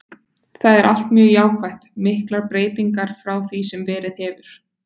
Það er allt mjög jákvætt, miklar breytingar frá því sem verið hefur.